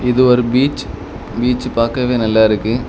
இது ஒரு beach beach பாக்கவே நல்லாருக்கு.